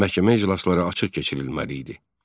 Məhkəmə iclasları açıq keçirilməli idi.